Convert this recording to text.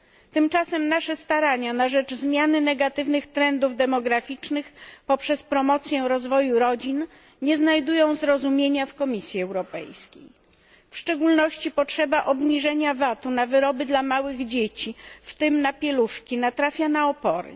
Tymczasem nasze starania na rzecz zmiany negatywnych trendów demograficznych poprzez wspieranie rozwoju rodzin nie znajdują zrozumienia u Komisji Europejskiej. W szczególności potrzeba obniżenia VAT u na produkty dla małych dzieci, w tym na pieluszki, natrafia na opór.